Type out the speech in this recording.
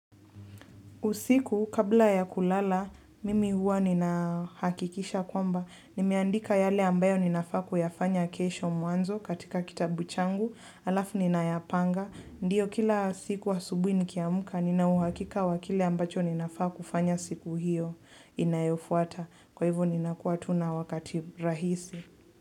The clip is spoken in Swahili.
Usiku, kabla ya kulala, mimi huwa nina hakikisha kwamba, nimeandika yale ambayo ninafaa kuyafanya kesho mwanzo katika kitabu changu, alafu nina yapanga, ndiyo kila siku asubui nikiamuka, nina uhakika wa kile ambacho ninafaa kufanya siku hiyo inayofuata, kwa hivo ninakua tu na wakati rahisi.